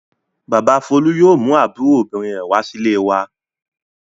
Bàbá Folú yóò mú àbúrò obìnrin rẹ̀ wá sílé wa.